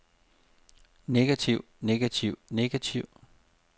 negativ negativ negativ